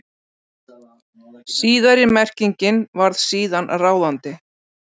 Síðari merkingin varð síðan ráðandi.